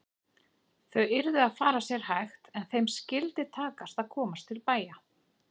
Þau yrðu að fara sér hægt en þeim skyldi takast að komast til bæja!